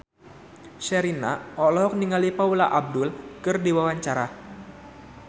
Sherina olohok ningali Paula Abdul keur diwawancara